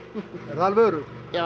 alveg öruggt já